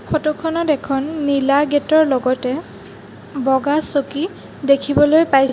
photo খনত এখন নীলা গেট ৰ লগতে বগা চকী দেখিবলৈ পাইছ--